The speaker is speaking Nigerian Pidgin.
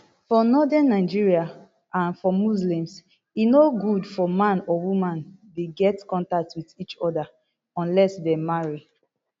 for northern nigeria and for muslims e no good for man or woman dey get contact wit each oda unless dem marry